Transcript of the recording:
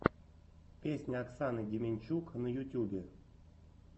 песня оксаны демянчук на ютюбе